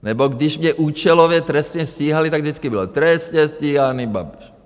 Nebo když mě účelově trestně stíhali, tak vždycky bylo: trestně stíhaný Babiš.